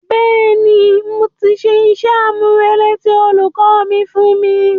Bẹ́ẹ̀ni, mo ti ṣe iṣẹ́-àmúrelé tí olùkọ́ mi fún mi